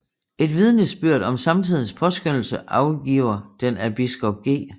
Et vidnesbyrd om samtidens påskønnelse afgiver den af biskop G